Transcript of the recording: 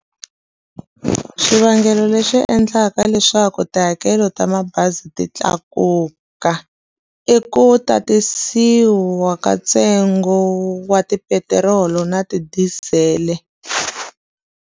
Swivangelo leswi endlaka leswaku tihakelo ta mabazi ti tlakuka i ku tatisiwa ka ntsengo wa tipetirolo na tidizele.